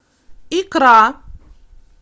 икра